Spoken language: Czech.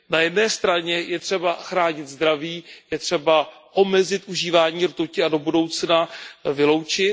Na jedné straně je třeba chránit zdraví, je třeba omezit užívání rtuti a do budoucna ji vyloučit.